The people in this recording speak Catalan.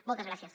moltes gràcies